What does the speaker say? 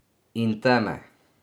In teme.